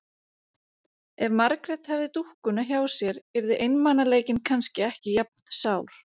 Ef Margrét hefði dúkkuna hjá sér yrði einmanaleikinn kannski ekki jafn sár.